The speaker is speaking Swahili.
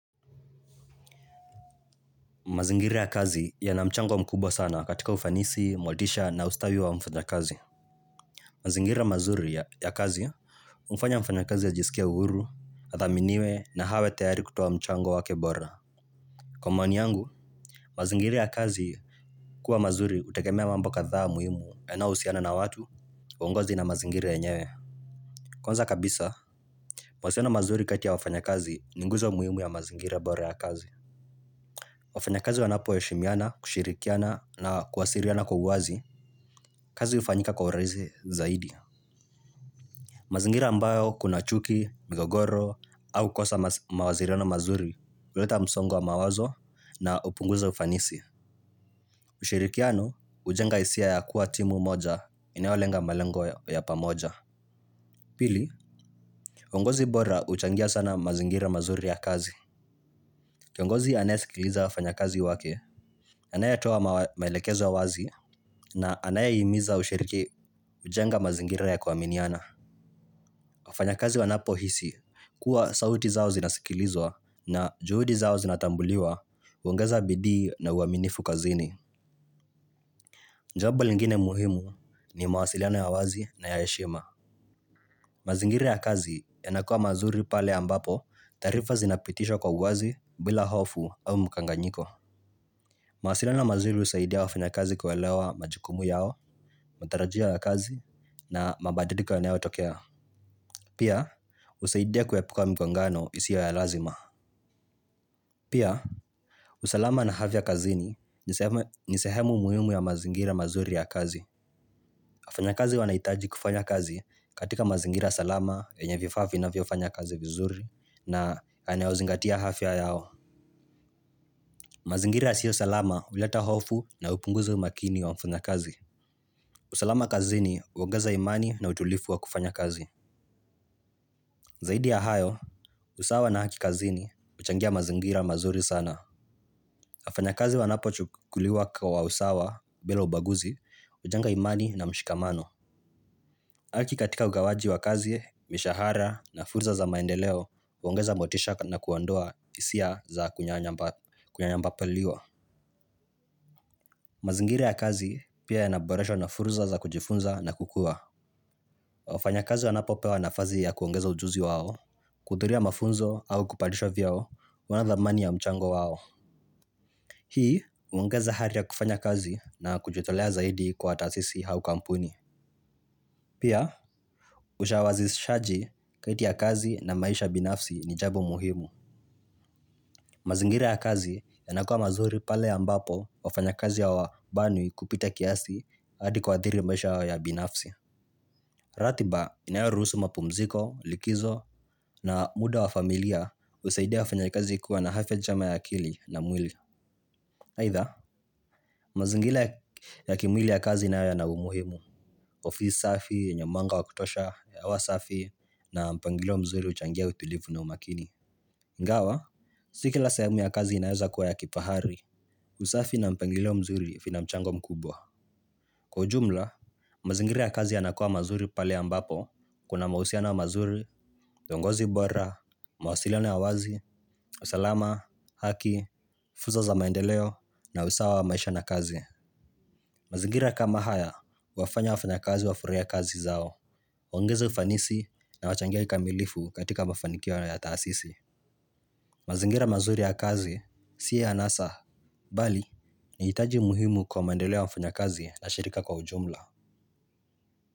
Mazingira ya kazi yana mchango mkubwa sana katika ufanisi, motisha na ustawi wa mfanya kazi. Mazingira ya mazuri ya kazi umfanya mfana kazi ya jisikia uuru, adhaminiwe na hawe teyari kutoa mchango wake bora. Kwa maoni yangu, mazingira ya kazi kuwa mazuri utagemea mambo kadhaa muhimu yana usiana na watu kwa uongozi na mazingira yenyewe. Kwanza kabisa, mazuri kati ya wafanya kazi ninguzo muhimu ya mazingira ya bora ya kazi. Wafanya kazi wanapo heshimiana, kushirikiana na kuwasiriana kwa uwazi, kazi ufanika kwa uraizi zaidi. Mazingira ambayo kuna chuki, migogoro, au kosa mawaziriano mazuri, uleta msongo wa mawazo na upunguza ufanisi. Ushirikiano, ujenga isia ya kuwa timu moja, inayolenga malengo ya pamoja. Pili, uongozi bora uchangia sana mazingira mazuri ya kazi. Kiongozi anaye sikiliza wafanya kazi wake, anayetoa mailekezo wazi na anayehmiza ushiriki ujenga mazingira ya kuwaminiana. Wafanya kazi wanapo hisi kuwa sauti zao zinasikilizwa na juhudi zao zinatambuliwa uongeza bidii na uaminifu kazini. Njabo lingine muhimu ni mawasiliano ya wazi na ya heshima. Mazingira ya kazi yanakua mazuri pale ambapo tarifa zinapitishwa kwa wazi bila hofu au mkanganyiko. Mawasilano mazuri usaidia wafinakazi kwelewa majukumu yao, matarajio ya kazi na mabadiliko yanayo tokea. Pia husadia kuepuka mikongano isiyo ya lazima pia usalama naafya kazini ni sehemu muhimu ya mazingira ya kazi. Afanyakazi wanaitaji kufanya kazi katika mazingira salama yenye vifaa finaviofanya kazi vizuri na anayozingatia hafya yao. Mazingira siyo salama uleta hofu na upunguza umakini wa mfunakazi. Usalama kazini, uongeza imani na utulifu wa kufanya kazi. Zaidi ya hayo, usawa na haki kazini, uchangia mazingira mazuri sana. Wafanya kazi wanapochukuliwa kwa usawa bila ubaguzi ujenga imani na mshikamano. Haki katika ugawaji wa kazi, mishahara na furza za maendeleo, uongeza motisha na kuandoa isia za kunyanyamba paliwa. Mazingira ya kazi pia yaboreshwa na fursa za kujifunza na kukua. Wafanya kazi wanapopewa nafazi ya kuongeza ujuzi wao, kuhudhuria mafunzo au kupadishwa vyeo, wanadhamani ya mchango wao. Hii, uongeza hari ya kufanya kazi na kujitolea zaidi kwa tasisi hau kampuni. Pia usawashizaji kati ya kazi na maisha binafsi ni jabo muhimu. Mazingira ya kazi yanakua mazuri pale ambapo wafanya kazi ya wabanwi kupita kiasi adi kuadhiri maisha ya binafsi. Ratiba inayarusu mapumziko, likizo na muda wa familia usaidia wafunya kazi kuwa na hafya jama ya akili na mwili. Haitha, mazingila ya kimwili ya kazi inaya na umuhimu. Ofisi safi, yenye manga wa kutosha, hewa safi na mpangilo mzuri uchangia utulivu na umakini Ngawa, sikila sehemu ya kazi inayaza kuwa ya kifahari. Usafi na mpangilo mzuri fina mchango mkubwa. Kwa jumla, mazingila ya kazi ya nakua mazuri pale ambapo kuna mausiano wa mazuri, dongozi bora, mawasiliano ya wazi, usalama, haki, furza za maendeleo na usawa wa maisha na kazi. Mazingira kama haya, huwafanya wa mafanya kazi wa furahia kazi zao. Wangeza ufanisi na wachangia ikamilifu katika mafanikia wa yataasisi. Mazingira mazuri ya kazi, siya anasa, bali, ni hitaji muhimu kwa maendeleo wa mafanya kazi na shirika kwa ujumla.